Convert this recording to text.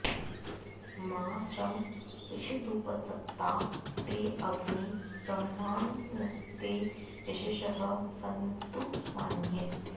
मा च॑ रिषदुपस॒त्ता ते॑ अग्ने ब्र॒ह्माण॑स्ते य॒शसः॑ सन्तु॒ मान्ये